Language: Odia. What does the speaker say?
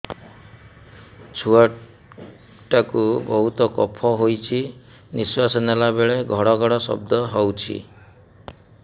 ଛୁଆ ଟା କୁ ବହୁତ କଫ ହୋଇଛି ନିଶ୍ୱାସ ନେଲା ବେଳେ ଘଡ ଘଡ ଶବ୍ଦ ହଉଛି